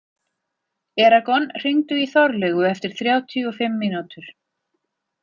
Eragon, hringdu í Þorlaugu eftir þrjátíu og fimm mínútur.